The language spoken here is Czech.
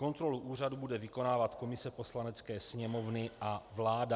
Kontrolu úřadu bude vykonávat komise Poslanecké sněmovny a vláda.